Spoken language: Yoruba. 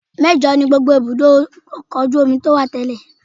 Mẹ́jọ ni gbogbo ibùdó ọkọ̀ ojú omi tó wà tẹ́lẹ̀